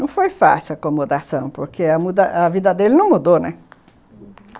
Não foi fácil a acomodação, porque a vida dele não mudou, né, uhum.